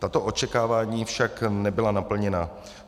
Tato očekávání však nebyla naplněna.